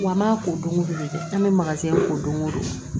Wa an b'a ko don o don de an bɛ ko don go don